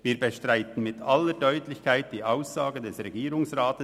Wir bestreiten in aller Deutlichkeit die entsprechende Aussage des Regierungsrats.